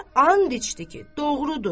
Və and içdi ki, doğrudur.